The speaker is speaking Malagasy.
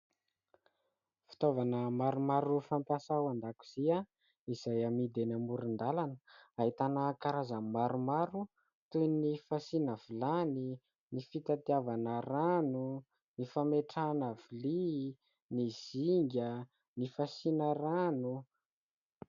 Fitaovana maromaro fampiasa ao an-dakozia izay amidy eny amoron-dalana, ahitana karazany maromaro toy ny fasiana vilany, ny fitadiavana rano, ny fametrahana vilia, ny zinga, ny fasiana rano.